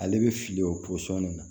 Ale bɛ fili o pɔsɔni na